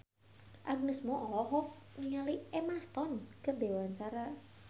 Agnes Mo olohok ningali Emma Stone keur diwawancara